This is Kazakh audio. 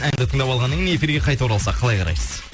әнді тыңдап алғаннан кейін эфирге қайта оралсақ қалай қарайсыз